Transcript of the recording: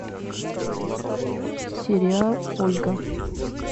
сериал ольга